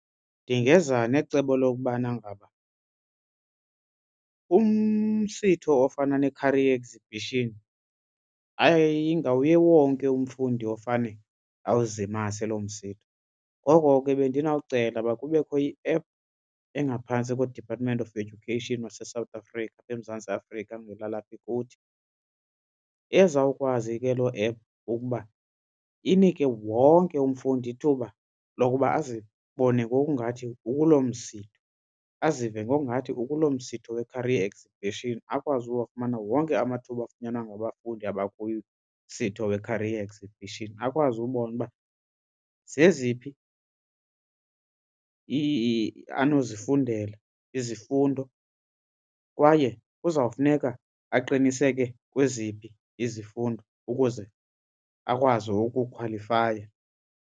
Ndingeza necebo lokubana ngaba umsitho ofana ne-career exhibition ayingawuye wonke umfundi ofane awuzimase loo msitho. Ngoko ke bendinawucela uba kubekho i-app engaphantsi koDepartment of Education waseSouth Africa apha eMzantsi Afrika ngelalapha kuthi ezawukwazi ke loo app ukuba inike wonke umfundi ithuba lokuba azibone ngokungathi ukuloo msitho azive ngokungathi ukuloo msitho we-career exhibition akwazi ukuwafumana wonke amathuba afunyanwa ngabafundi abakumsitho we-career exhibition akwazi ubona uba zeziphi anozifundela izifundo kwaye kuzawufuneka aqiniseke kweziphi izifundo ukuze akwazi ukukhwalifaya.